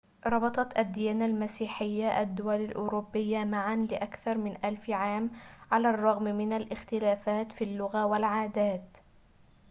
ربطت الديانة المسيحية الدول الأوروبية معًا لأكثر من ألف عام على الرغم من الاختلافات في اللغة والعادات